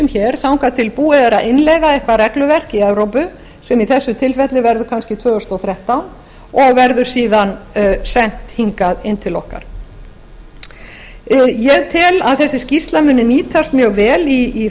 hér þangað til búið er að innleiða eitthvað regluverk í evrópu sem í þessu tilfelli verður kannski tvö þúsund og þrettán og verður síðan sent hingað inn til okkar ég tel að þessi skýrsla muni nýtast mjög vel í